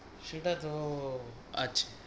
সেটা তো আছে।